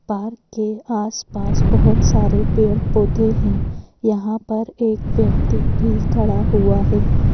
Park के आसपास बहुत सारे पेड़-पौधे हैं यहाँ पर एक व्यक्ति भी खड़ा हुआ है।